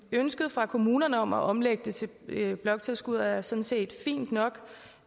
ønsket fra kommunerne om at omlægge det til bloktilskud er sådan set fint nok